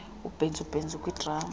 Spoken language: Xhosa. ubhentsu bhentsu kwidrama